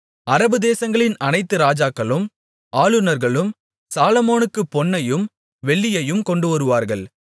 அரபுதேசங்களின் அனைத்து ராஜாக்களும் ஆளுநர்களும் சாலொமோனுக்குப் பொன்னையும் வெள்ளியையும் கொண்டுவருவார்கள்